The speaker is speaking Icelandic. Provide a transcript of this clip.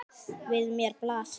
Við mér blasir.